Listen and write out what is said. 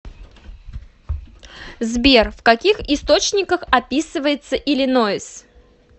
сбер в каких источниках описывается иллинойс